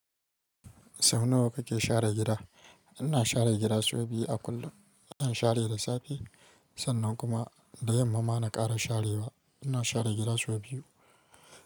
Sau nawa kake share gida? Ina share gida sau biyu a kullum. Zan share da safe sannan kuma da yamma ma na ƙara sharewa. Ina share gida sau biyu.